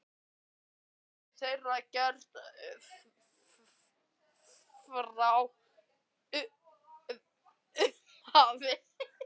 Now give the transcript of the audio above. Þetta höfðu þeir gert frá upphafi